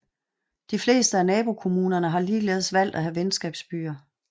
De fleste af nabokommunerne har ligeledes valgt at have venskabsbyer